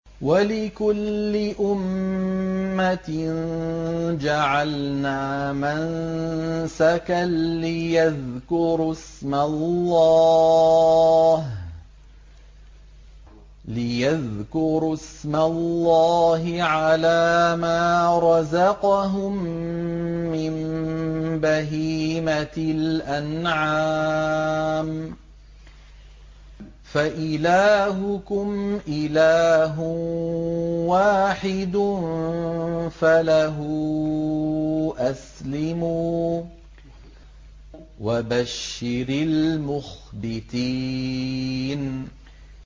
وَلِكُلِّ أُمَّةٍ جَعَلْنَا مَنسَكًا لِّيَذْكُرُوا اسْمَ اللَّهِ عَلَىٰ مَا رَزَقَهُم مِّن بَهِيمَةِ الْأَنْعَامِ ۗ فَإِلَٰهُكُمْ إِلَٰهٌ وَاحِدٌ فَلَهُ أَسْلِمُوا ۗ وَبَشِّرِ الْمُخْبِتِينَ